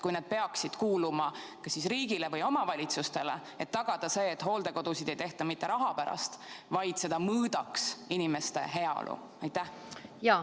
Kui nad peaksid kuuluma kas siis riigile või omavalitsustele, et tagada see, et hooldekodusid ei tehta mitte raha pärast, vaid inimeste heaolu pärast?